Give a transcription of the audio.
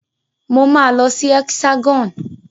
Mo máa lọ sí Hexagon.